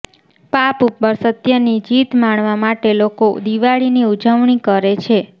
પાપ ઉપર સત્યની જીત માણવા માટે લોકો દિવાળીની ઉજવણી કરે છે